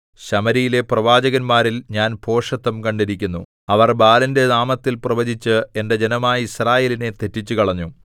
ശമര്യയിലെ പ്രവാചകന്മാരിൽ ഞാൻ ഭോഷത്തം കണ്ടിരിക്കുന്നു അവർ ബാലിന്റെ നാമത്തിൽ പ്രവചിച്ച് എന്റെ ജനമായ യിസ്രായേലിനെ തെറ്റിച്ചുകളഞ്ഞു